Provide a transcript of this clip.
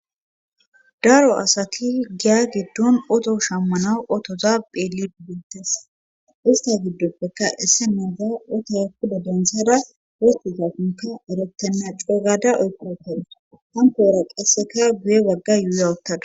daro asati giya giddon oto shammanaw otoza pheeli bibbintes ista giddoppeka esse mada oto kuda dentsada woti ta konka arottenna coogada oykookawus hankoora qasseka guye wagga yuuya ottadus